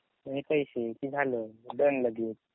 आणि पैसे कि झालं डन लगेच.